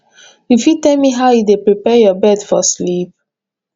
you fit tell me how you dey prepare your bed for sleep